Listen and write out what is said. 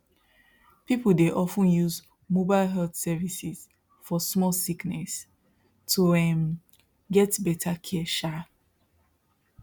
people dey of ten use mobile health services for small sickness to um get better care um